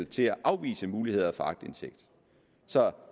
til at afvise muligheden for aktindsigt så